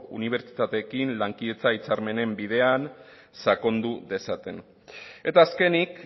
unibertsitateekin lankidetza hitzarmenen bidean sakondu dezaten eta azkenik